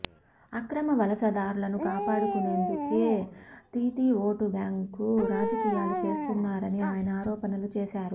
అక్రమ వలసదారులను కాపాడుకునేందుకే దీదీ ఓటు బ్యాంకు రాజకీయాలు చేస్తున్నారని ఆయన ఆరోపణలు చేశారు